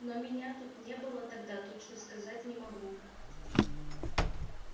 но меня тут не было тогда точно сказать не могу